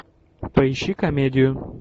поищи комедию